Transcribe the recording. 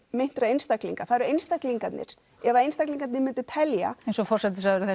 meintra einstaklinga það eru einstaklingarnir ef að einstaklingarnir myndu telja eins og forsætisráðherrann